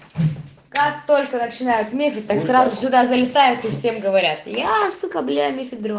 как только начинают метить так сразу сюда залетают всем говорятся я сука бля мифидрон